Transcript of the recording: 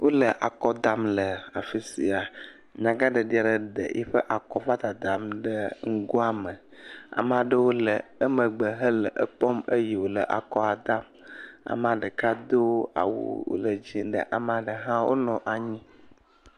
Wole akɔ dam le afi sia, nyagaɖeɖi ɖe le eƒe akɔa kɔ dadam ɖe nugoa me, ame aɖewo le emegbe, wole ekpɔm eye wòle akɔa dam, amea ɖeka do awu wòle dzɛ̃ ɖe, amea ɖe hã wonɔ anyi.